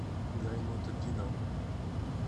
гайнутдинову